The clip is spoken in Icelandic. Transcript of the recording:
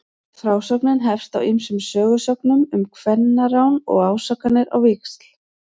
Frásögnin hefst á ýmsum sögusögnum um kvennarán og ásakanir á víxl.